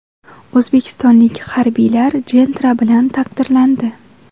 O‘zbekistonlik harbiylar Gentra bilan taqdirlandi .